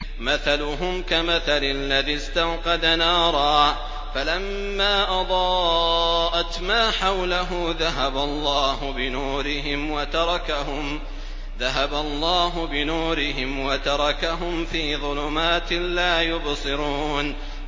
مَثَلُهُمْ كَمَثَلِ الَّذِي اسْتَوْقَدَ نَارًا فَلَمَّا أَضَاءَتْ مَا حَوْلَهُ ذَهَبَ اللَّهُ بِنُورِهِمْ وَتَرَكَهُمْ فِي ظُلُمَاتٍ لَّا يُبْصِرُونَ